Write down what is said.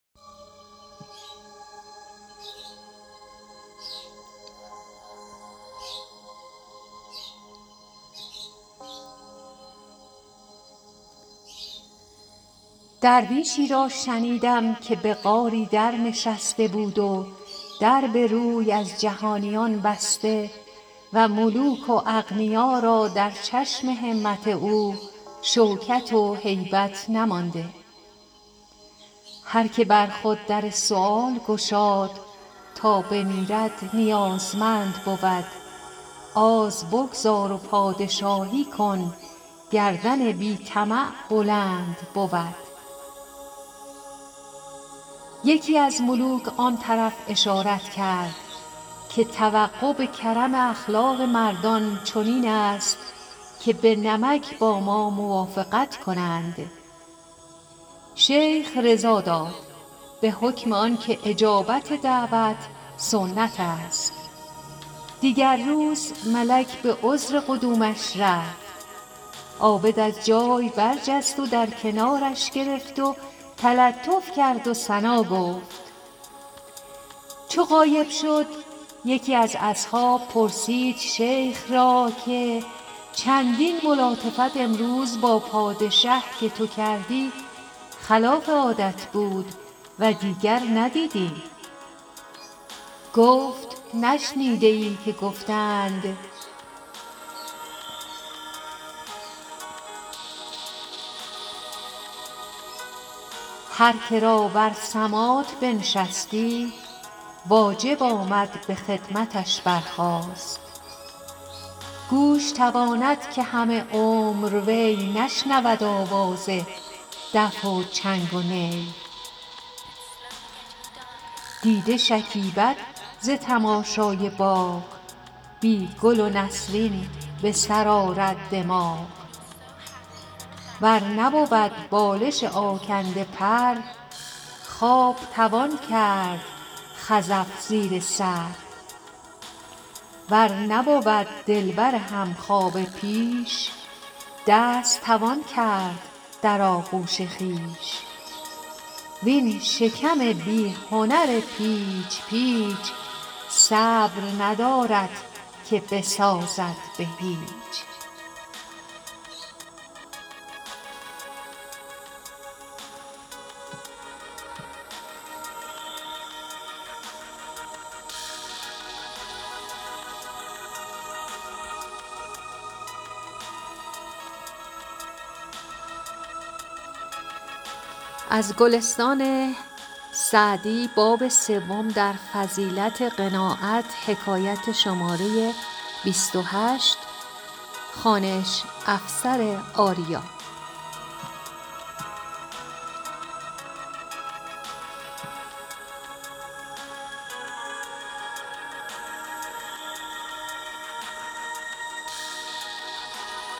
درویشی را شنیدم که به غاری در نشسته بود و در به روی از جهانیان بسته و ملوک و اغنیا را در چشم همت او شوکت و هیبت نمانده هر که بر خود در سؤال گشاد تا بمیرد نیازمند بود آز بگذار و پادشاهی کن گردن بی طمع بلند بود یکی از ملوک آن طرف اشارت کرد که توقع به کرم اخلاق مردان چنین است که به نمک با ما موافقت کنند شیخ رضا داد به حکم آن که اجابت دعوت سنت است دیگر روز ملک به عذر قدومش رفت عابد از جای برجست و در کنارش گرفت و تلطف کرد و ثنا گفت چو غایب شد یکی از اصحاب پرسید شیخ را که چندین ملاطفت امروز با پادشه که تو کردی خلاف عادت بود و دیگر ندیدیم گفت نشنیده ای که گفته اند هر که را بر سماط بنشستی واجب آمد به خدمتش برخاست گوش تواند که همه عمر وی نشنود آواز دف و چنگ و نی دیده شکیبد ز تماشای باغ بی گل و نسرین به سر آرد دماغ ور نبود بالش آکنده پر خواب توان کرد خزف زیر سر ور نبود دلبر همخوابه پیش دست توان کرد در آغوش خویش وین شکم بی هنر پیچ پیچ صبر ندارد که بسازد به هیچ